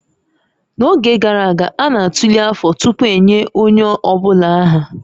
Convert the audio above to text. N'oge gara aga, a na-atụle afọ tupu enye onye ọ bụla aha